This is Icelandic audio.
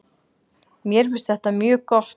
Mér finnst þetta mjög gott.